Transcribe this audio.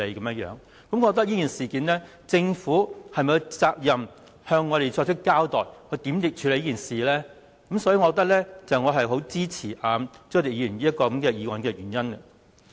我覺得在這事件上，政府有責任向我們交代會如何處理，這也是我支持朱凱廸議員這項議案的原因。